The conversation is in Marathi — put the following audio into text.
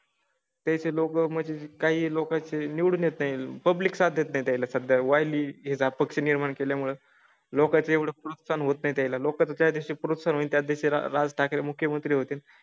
त्याचे लोकं म्हणजे काही लोकांचे निवडून येता येईल. पब्लिक साधत नाही त्याला सध्या वली याचा पक्ष निर्माण केल्या मुळे लोकांचं एवढं प्रोत्साहन होत नाही. त्याला लोकं त्या दिवशी प्रोत्साहित या दिवशी राज ठाकरे मुख्यमंत्री होतील.